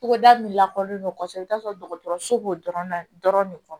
Togoda min lakɔlen don kosɛbɛ i bɛ taa sɔrɔ dɔgɔtɔrɔso b'o dɔrɔn na dɔrɔn de fɔ